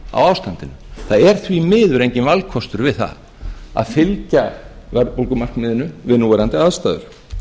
ástandinu það er því miður enginn valkostur við það að fylgja verðbólgumarkmiðinu við núverandi aðstæður